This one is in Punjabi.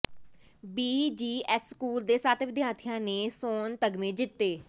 ਬੀਜੀਐਸ ਸਕੂਲ ਦੇ ਸੱਤ ਵਿਦਿਆਰਥੀਆਂ ਨੇ ਸੋਨ ਤਗਮੇ ਜਿੱਤੇ